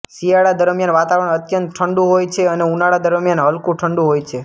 શિયાળા દરમ્યાન વાતાવરણ અત્યંત ઠંડુ હોય છે અને ઉનાળા દરમ્યાન હલકું ઠંડુ હોય છે